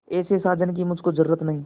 ऐसे साजन की मुझको जरूरत नहीं